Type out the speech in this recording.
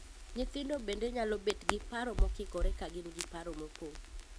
Nyithindo bende nyalo bet gi paro mokikore ka gin gi paro mopong'.